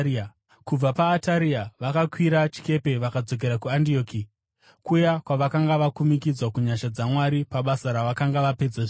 Kubva paAtaria vakakwira chikepe vakadzokera kuAndioki, kuya kwavakanga vakumikidzwa kunyasha dzaMwari pabasa ravakanga vapedza zvino.